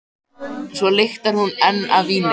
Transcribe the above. Svo lyktar hún enn af víni.